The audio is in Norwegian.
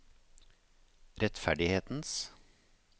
rettferdighetens